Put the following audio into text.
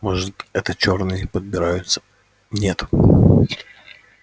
может это чёрные подбираются нет